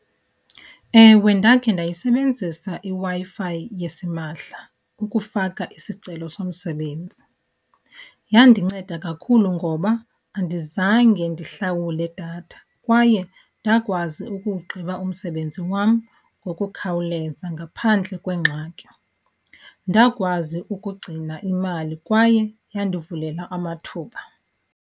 Ewe, ndakhe ndayisebenzisa iWi-Fi fi yasimahla ukufaka isicelo somsebenzi. Yandinceda kakhulu ngoba andizange ndihlawule datha kwaye ndakwazi ukuwugqiba umsebenzi wam ngokukhawuleza ngaphandle kwengxaki. Ndakwazi ukugcina imali kwaye yandivulela amathuba.